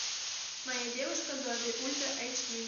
моя девушка зомби ультра эйч ди